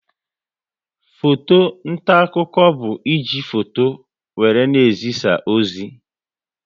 Foto nta akụkọ bụ e ji foto wéré na-ezisa ozi